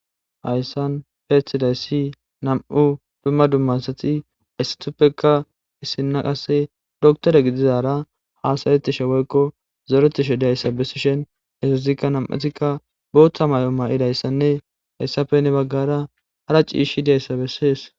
Hayssan peethidays si nam'u dumma dummasati aystuppekka issinna qasse doktore gidizara hasayetishe woykko zoretishe dayssa bessishen esazikka nam'utikka booththa may'o ma'idayssanne hayssafenne baggara hara ciishi deyssa bessees.